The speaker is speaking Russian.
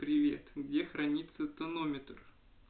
привет где храниться тонометр